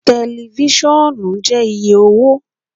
Tẹlifisiọnu jẹ iye owo